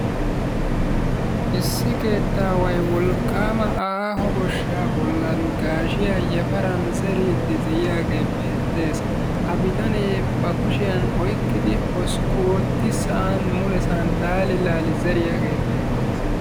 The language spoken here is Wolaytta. Issi keettaway wolqqama aaho goshsha bollan gaashshiyaa yafaran zeriddi de'iyaage beettes. Ha bittanne ba kushiyaan oyqqidi hoskku ootti sa'an mulessaan laali laali zeriyaage beettes.